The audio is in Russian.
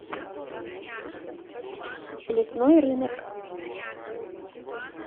лесной рынок